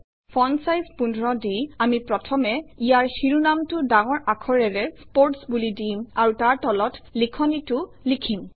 font size ১৫ দি আমি প্ৰথমে ইয়াৰ শিৰোনামটো ডাঙৰ আখাৰেৰে স্পোৰ্টছ বুলি দিম আৰু তাৰ তলত লিখনিটো লিখিম